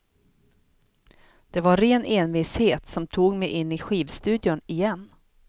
Det var ren envishet som tog mig in i skivstudion igen.